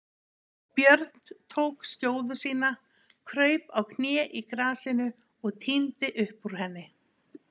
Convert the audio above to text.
Björn tók skjóðu sína, kraup á kné í grasinu og tíndi upp úr henni.